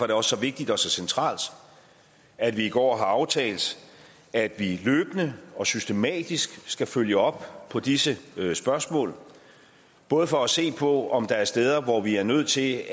det også så vigtigt og så centralt at vi i går har aftalt at vi løbende og systematisk skal følge op på disse spørgsmål både for at se på om der er steder hvor vi er nødt til